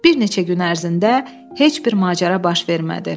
Bir neçə gün ərzində heç bir macəra baş vermədi.